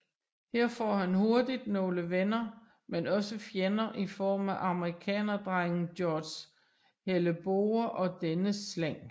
Her får han hurtigt nogle venner men også fjender i form af amerikanerdrengen George Hellebore og dennes slæng